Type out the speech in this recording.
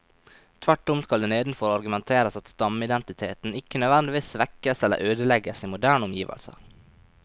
Tvert om skal det nedenfor argumenteres at stammeidentiteten ikke nødvendigvis svekkes eller ødelegges i moderne omgivelser.